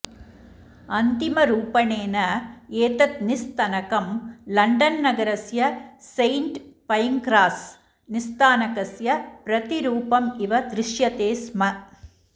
अन्तिम रूपणेन एतत् निस्थनकं लण्डन् नगरस्य सेण्ट् पैङ्क्रास् निस्थानकस्य प्रतिरूपमिव दृश्यते स्म